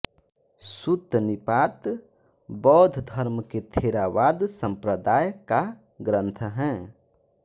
सुत्तनिपात बौद्ध धर्म के थेरावाद सम्प्रदाय का ग्रन्थ है